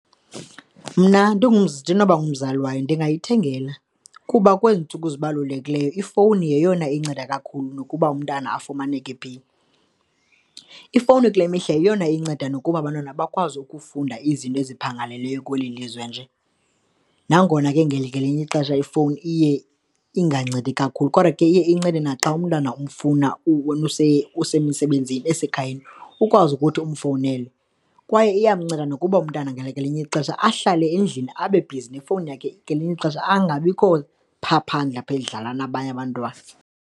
Mna ndinoba ngumzali wayo ndingayithengela kuba kwezi ntsuku zibalulekileyo ifowuni yeyona inceda kakhulu nokuba umntana afumaneke phi. Ifowuni kule mihla yeyona inceda nokuba abantwana bakwazi ukufunda izinto eziphangaleleyo kweli lizwe nje. Nangona ke ngelinye ixesha ifowuni iye ingancedi kakhulu kodwa ke iye incede naxa umntana umfuna wena usemsebenzini, esekhayeni, ukwazi ukuthi ufowunele. Kwaye iyamnceda nokuba umntana ngelinye ixesha ahlale endlini abe bhizi nefowuni yakhe, ngelinye ixesha angabikho phaa phandle apha edlala nabanye abantu.